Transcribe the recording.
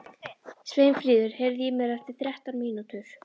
Sveinfríður, heyrðu í mér eftir þrettán mínútur.